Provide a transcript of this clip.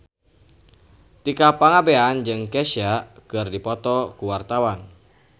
Tika Pangabean jeung Kesha keur dipoto ku wartawan